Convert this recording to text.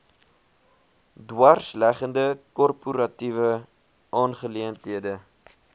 dwarsleggende korporatiewe aangeleenthede